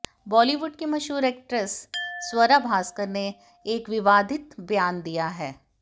बॉलीवुड की मशहूर एक्ट्रेस स्वरा भास्कर ने एक विवादित बयान दिया है